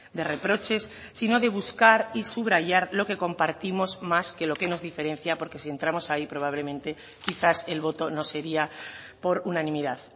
de reproches sino de buscar y subrayar lo que compartimos más que lo que nos diferencia porque si entramos ahí probablemente quizás el voto no sería por unanimidad